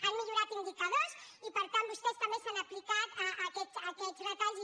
han millorat indicadors i per tant vostès s’han aplicat aquests retalls i